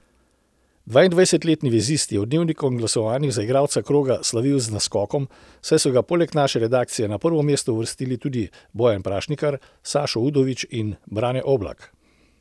Dvaindvajsetletni vezist je v Dnevnikovem glasovanju za igralca kroga slavil z naskokom, saj so ga poleg naše redakcije na prvo mesto uvrstili tudi Bojan Prašnikar, Sašo Udović in Brane Oblak.